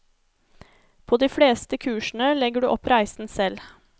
På de fleste kursene legger du opp reisen selv.